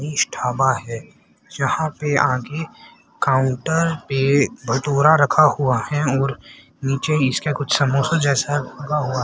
इस ढाबा है जहां पर आगे काउंटर पर भटोरा रखा हुआ है और नीचे इसका कुछ समोसा जैसा लगा--